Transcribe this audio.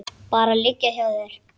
Bara liggja hjá þér.